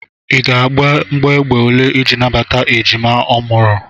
Ị ga-agba mgbọ égbè ole iji nabata ejima ọ mụrụ?